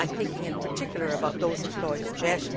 I am thinking in particular about those employed in JET.